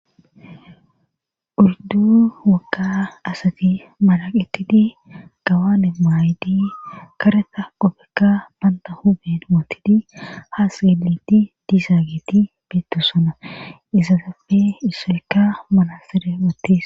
Oyddu wokka asati maraqettidi gawane maaydi kareta opekka banta hube mootidi haa sgeleti disaageti beettosona izazappe issoyka manasere wottis.